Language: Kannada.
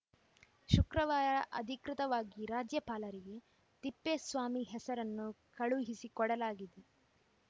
ಶುಕ್ರವಾರ ಅಧಿಕೃತವಾಗಿ ರಾಜ್ಯಪಾಲರಿಗೆ ತಿಪ್ಪೇಸ್ವಾಮಿ ಹೆಸರನ್ನು ಕಳುಹಿಸಿಕೊಡಲಾಗಿದೆ